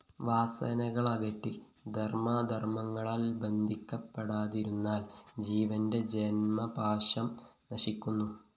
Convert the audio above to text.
വാസനകളകറ്റി ധര്‍മ്മാധര്‍മ്മങ്ങളാല്‍ ബന്ധിക്കപ്പെടാതിരുന്നാല്‍ ജീവന്റെ ജന്മപാശം നശിക്കുന്നു